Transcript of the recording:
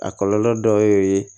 A kɔlɔlɔ dɔ ye